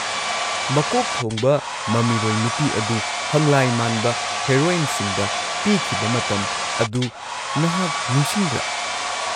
ꯃꯀꯣꯛ ꯊꯣꯡꯕ ꯃꯃꯤꯔꯣꯏ ꯅꯨꯄꯤ ꯑꯗꯨ ꯍꯪꯂꯥꯏ ꯃꯥꯟꯕ ꯍꯤꯔꯣꯏꯟꯁꯤꯡꯗ ꯄꯤꯈꯤꯕ ꯃꯇꯝ ꯑꯗꯨ ꯅꯍꯥꯛ ꯅꯤꯡꯁꯤꯡꯕ꯭ꯔꯥ?